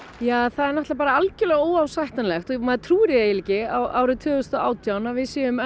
það er algjörlega óásættanlegt og maður trúir því eiginlega ekki árið tvö þúsund og átján að við séum